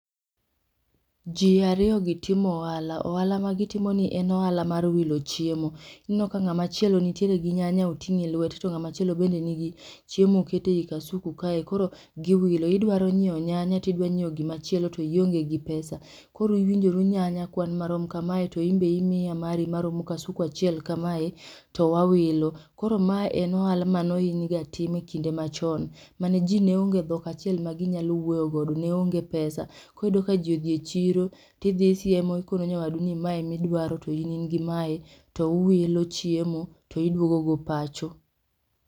Ji ariyogi timo ohala, ohala magitimoni en ohala mar wilo chiemo. Ineno ka ng'amachielo nitiere gi nyanya oting'e lwete to ng'amachielo bende nigi chiemo okete i kasuku kae koro giwilo. Idwaro nyiewo nyanya tidwa nyiewo gimachielo tionge gi pesa. Koro iwinjoru nyanya kwan marom kamae to inbe imiya mari maromo kasuku achiel kamae towawilo. Koro mae en ohala manohinyga timga kinde machon. Mane ji neonge dhok achiel maginyalo wuoyogodo, neonge pesa. Koro iyudoka ji odhi e chiro tidhi isiemo ikono nyawadu ni mae midwaro to in in-gi mae to uwilo chiemo to idwogo go pacho.